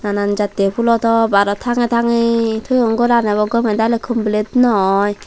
nanan jattey phulotop aro tangey tangey toyon goran ebo gomey daley complete no oye.